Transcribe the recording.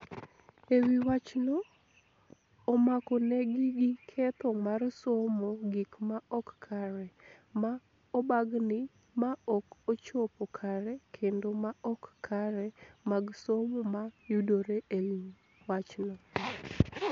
E wi wachno, omakonegi gi ketho mar somo gik ma ok kare, ma obagni, ma ok ochopo kare kendo ma ok kare mag somo ma yudore e wi wachno